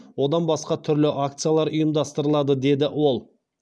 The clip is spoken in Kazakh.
одан басқа түрлі акциялар ұйымдастырылады деді ол